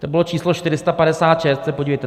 To bylo číslo 456, to se podívejte.